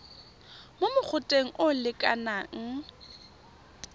mo mogoteng o o lekanang